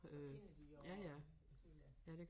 Så kender de også hende